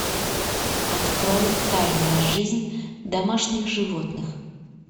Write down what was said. открой тайная жизнь домашних животных